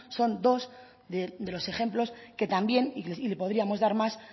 son dos de los ejemplos que también y le podríamos dar más